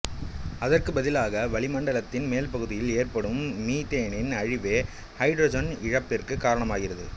அதற்கு பதிலாக வளிமண்டலத்தின் மேல்பகுதியில் ஏற்படும் மீத்தேனின் அழிவே ஹைட்ரஜன் இழப்பிற்கு காரணமாகிறது